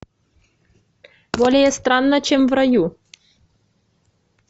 более странно чем в раю